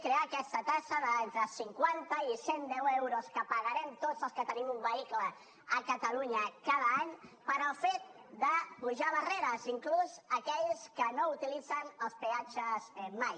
crear aquesta taxa d’entre cinquanta i cent deu euros que pagarem tots els que tenim un vehicle a catalunya cada any pel fet d’apujar barreres inclús aquells que no utilitzen els peatges mai